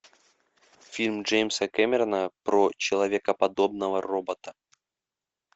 фильм джеймса кэмерона про человекоподобного робота